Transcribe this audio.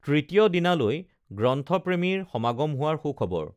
তৃতীয় দিনালৈ গ্ৰন্থপ্ৰেমীৰ সমাগম হোৱাৰ সুখবৰ